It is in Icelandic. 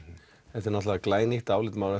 þetta er náttúrulega glænýtt álitamál